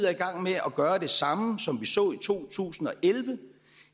er i gang med at gøre det samme som vi så i to tusind og elleve